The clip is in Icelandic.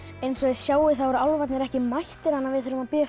eins og þið sjáið eru álfarnir ekki mættir við skulum bíða eftir